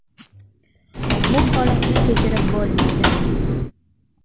Bu holatni kechirib bo‘lmaydi.